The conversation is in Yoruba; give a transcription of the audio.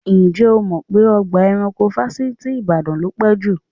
Ǹjẹ́ o mọ̀ pé ọgbà ẹranko Fáṣítì Ìbàdàn ló pé jù?